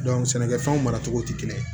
sɛnɛkɛfɛnw maracogo tɛ kelen ye